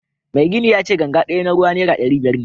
Mai gini yace ganga daya na ruwa naira dari biyar ne